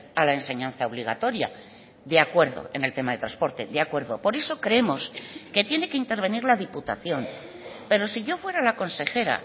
a la enseñanza obligatoria de acuerdo en el tema de transporte de acuerdo por eso creemos que tiene que intervenir la diputación pero si yo fuera la consejera